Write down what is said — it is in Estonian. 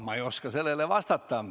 Ma ei oska sellele vastata.